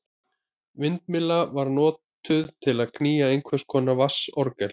Vindmyllan var notuð til að knýja einhvers konar vatnsorgel.